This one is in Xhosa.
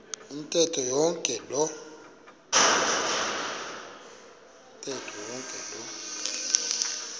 ntetho yonke loo